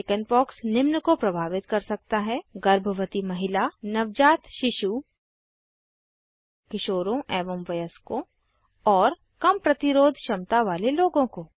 chickenpox निम्न को प्रभावित कर सकता है गर्भवती महिला नवजात शिशु किशोरों एवं वयस्कों और कम प्रतिरोध क्षमता वाले लोगों को